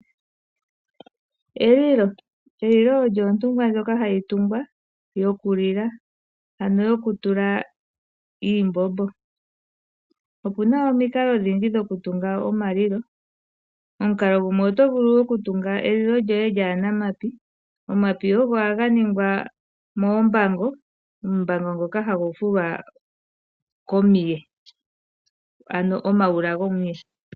Elilo Elilo olyo ontungwa ndjoka hayi tungwa yokulila, ano yokutula iimbombo. Opu na omikalo odhindji dhokutunga omalilo. Oto vulu okutunga elilo lyoye lyaa na omapi. Omapi ohaga fumikwa mombango. Ombango ndjoka hayi fulwa komuye, ano omayula gopekota lyomuye.